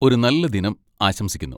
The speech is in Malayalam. ഒരു നല്ല ദിനം ആശംസിക്കുന്നു.